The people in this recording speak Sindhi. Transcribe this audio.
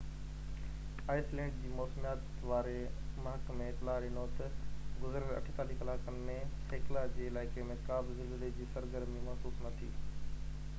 آئس لينڊ جي موسميات واري محڪمي اطلاع ڏنو تہ گذريل 48 ڪلاڪن ۾ هيڪلا جي علائقي ۾ ڪا بہ زلزلي جي سرگرمي محسوس نہ ٿي